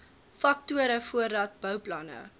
faktore voordat bouplanne